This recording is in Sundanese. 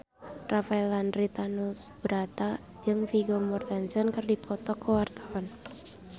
Rafael Landry Tanubrata jeung Vigo Mortensen keur dipoto ku wartawan